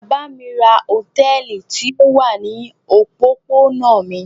Bàbá mi ra hòtẹ́ẹ́lì tí ó wà ní òpópónà mi.